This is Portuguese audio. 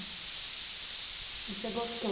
E você gostou?